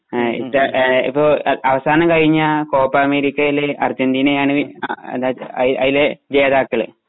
ആ ഈ ആ ഇപ്പൊ ആ അവസാനം കഴിഞ്ഞ കോപ്പ അമേരിക്കയിലെ അർജന്റീന ആണ് വിൻ ആ അതായതു ആ അയിലെ ജേതാക്കള്.